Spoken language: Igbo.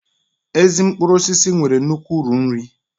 Ezi mkpụrụ osisi nwere nnukwu uru nri